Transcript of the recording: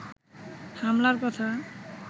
হামলার কথা